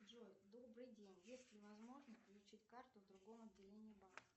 джой добрый день есть ли возможность получить карту в другом отделении банка